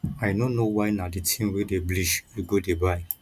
i no know why na the thing wey dey bleach you go dey buy